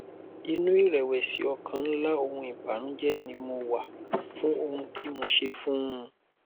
inú ìrẹwẹsì ọkàn ńlá òhun ìbànújẹ ni mo wà fún ohun tí mo ṣe fún un